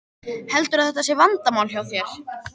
Heldurðu að þetta sé vandamál hjá þér?